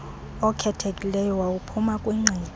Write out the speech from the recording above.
okhethekileyo wawuphuma kwingqiqo